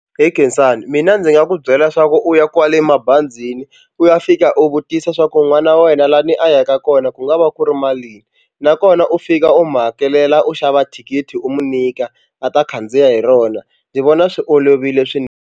He Khensani mina ndzi nga ku byela leswaku u ya kwale mabazini u ya fika u vutisa swa ku n'wana wa wena lani a yaka kona ku nga va ku ri malini nakona u fika u mu hakelela u xava thikithi u mu nyika a ta khandziya hi rona ndzi vona swi olovile .